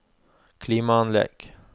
klimaanlegg